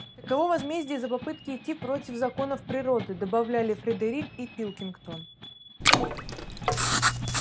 таково возмездие за попытки идти против законов природы добавляли фредерик и пилкингтон